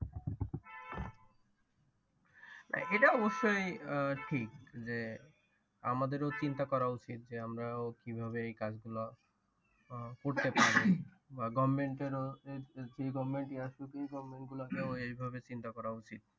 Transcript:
না এটা অবশ্যই আহ ঠিক যে আমাদের ও চিন্তা করা উচিত যে আমার ও কিভাবে এই কাজ গুলা করতে পারি। বা government এর ও এই ভাবে চিন্তা করা উচিত।